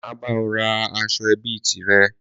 Má ba ọ ra aṣọ ẹbí tìrẹ